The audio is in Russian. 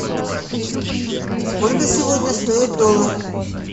сколько сегодня стоит доллар